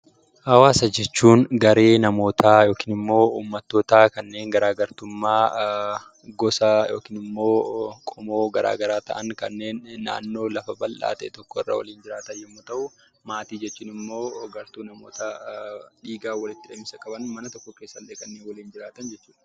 Hawaasa jechuun garee namootaa yookiin immoo uummattootaa kanneen garaa gartummaa gosaa yookiin immoo qomoo garaa garaa ta'an, kanneen naannoo lafa bal'aa ta'e tokkorra waliin jiraatan yommuu ta'u, maatii jechuun immoo gartuu namoota dhiigaan walitti hidhamiinsa qaban, mana tokko keessallee kan waliin jiraatan jechuudha.